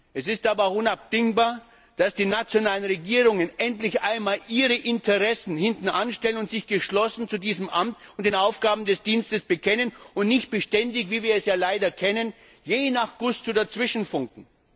Es ist aber auch unabdingbar, dass die nationalen Regierungen endlich einmal ihre Interessen hintanstellen und sich geschlossen zu diesem Amt und den Aufgaben des Dienstes bekennen und nicht beständig, wie wir es ja leider kennen, je nach Belieben dazwischenfunken.